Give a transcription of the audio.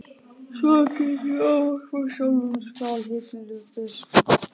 Svona get ég ekki ávarpað sjálfan Skálholtsbiskup!